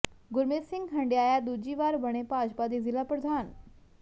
ਗੁਰਮੀਤ ਸਿੰਘ ਹੰਢਿਆਇਆ ਦੂਜੀ ਵਾਰ ਬਣੇ ਭਾਜਪਾ ਦੇ ਜ਼ਿਲ੍ਹਾ ਪ੍ਰਧਾਨ